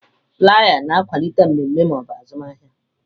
Flaiya na-akwalite mmemme ma ọ bụ azụmahịa.